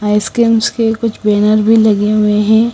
Ice creams के कुछ banner भी लगे हुए हैं।